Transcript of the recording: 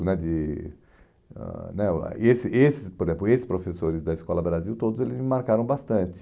né de ãh né o ah esse esse Por exemplo, esses professores da Escola Brasil, todos eles me marcaram bastante.